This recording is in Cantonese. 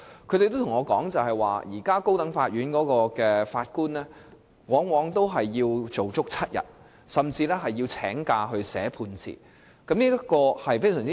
他們對我說，現時高等法院法官往往要工作7天，甚至要請假撰寫判詞，這種情況極不理想。